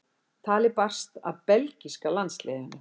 Talið barst að belgíska landsliðinu.